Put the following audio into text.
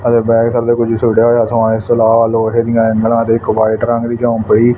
ਹਰੇ ਬੈਗ ਥੱਲੇ ਕੁਛ ਛੋਟਾ ਜਿਹਾ ਸਮਾਨ ਇਸ ਤੋਂ ਇਲਾਵਾ ਲੋਹੇ ਦੀਆਂ ਐਂਗਲਾਂ ਅਤੇ ਇੱਕ ਵਾਈਟ ਰੰਗ ਦੀ ਪਈ--